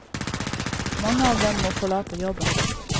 Mange av dem må forlate jobben.